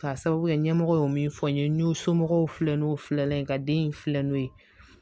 Ka sababu kɛ ɲɛmɔgɔ ye min fɔ n ye n y'o somɔgɔw filɛ n'o filɛ ye ka den in filɛ n'o ye